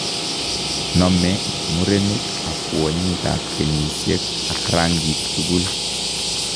Nome murenik ak kwonyik ab kenyisiek ak rangik tugul